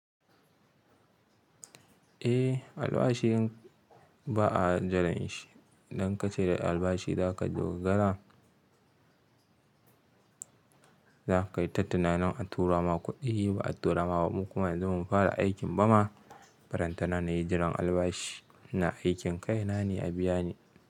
Eh albashi in ba a jiran shi, idan ka ce da albashi za ka dogara, za ka yi ta tunanin an tura ma kuɗi ba a tura ma mu kuma yanzu mun fara aikin ba ma. Faranta na nayi jiran albashi na aikin kai na ne a biya ni.